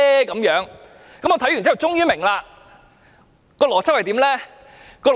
我看完終於明白那邏輯是甚麼。